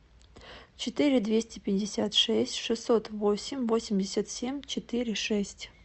четыре двести пятьдесят шесть шестьсот восемь восемьдесят семь четыре шесть